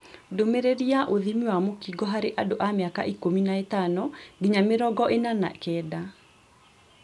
Ndũmĩrĩri ya ũthimi wa mũkingo harĩ andũ a mĩaka ikũmi na ĩtano nginya mĩrongo ĩna na kenda